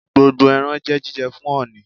Gbogbo ẹran jẹ́ jíjẹ fún ọ̀ọ̀nì.